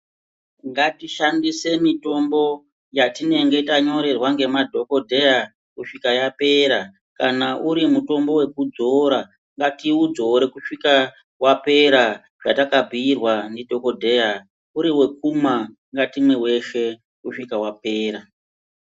Ngatishandise mitombo yatinenge tanyorerwa nemaDhokodheya kusvika yapera, kana uri mutombo wekudzora, ngatiudzore kusvika wapera zvatakabhirwa ndidhokodheya, uri wekumwa ngatimwe weshe kusvika wapera.